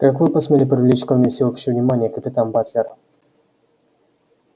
как вы посмели привлечь ко мне всеобщее внимание капитан батлер